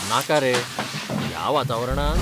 नाका रे, ह्या वातावरणांत?